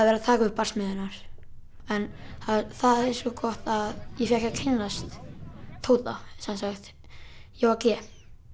verið að taka upp barsmíðarnar en það er svo gott að ég fékk að kynnast Tóta sem sagt Jóa g